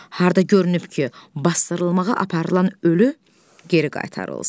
Harda görünüb ki, basdırılmağa aparılan ölü geri qaytarılsın?